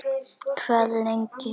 Hvað lengi.